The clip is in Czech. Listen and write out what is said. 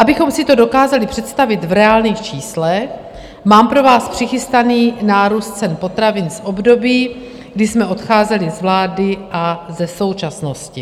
Abychom si to dokázali představit v reálných číslech, mám pro vás přichystaný nárůst cen potravin v období, kdy jsme odcházeli z vlády, a ze současnosti.